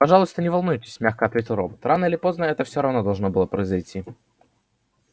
пожалуйста не волнуйтесь мягко ответил робот рано или поздно это всё равно должно было произойти